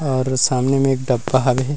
और सामने म एक डब्बा हवे हे।